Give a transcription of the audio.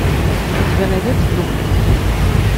у тебя найдется духлесс